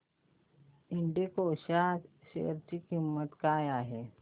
एल्डेको च्या शेअर ची किंमत काय आहे